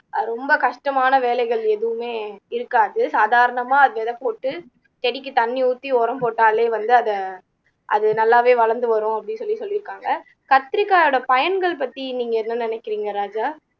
அஹ் ரொம்ப கஷ்டமான வேலைகள் எதுவுமே இருக்காது சாதாரணமா அது விதை போட்டு செடிக்கு தண்ணி ஊத்தி உரம் போட்டாலே வந்து அதை அது நல்லாவே வளர்ந்து வரும் அப்படீன்னு சொல்லி சொல்லிருக்காங்க கத்திரிக்காயோட பயன்கள் பத்தி நீங்க என்ன நினைக்கிறீங்க ராஜா